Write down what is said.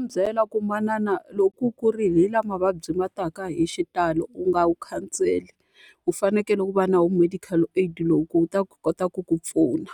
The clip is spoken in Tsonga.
Ndzi nga n'wi byela ku manana loko u kurile hi laha mavabyi ma taka hi xitalo, u nga wu khanseli. U fanekele u va na wona medical aid lowu ku wu ta kota ku ku pfuna.